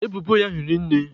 Ebubo ya hiri nne.